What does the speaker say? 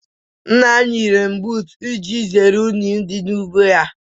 Nna m yi renbuutu iji zeere unyi dị n'ugbo ya.